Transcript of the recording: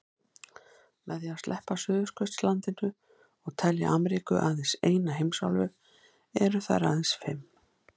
Með því að sleppa Suðurskautslandinu og telja Ameríku aðeins eina heimsálfu eru þær aðeins fimm.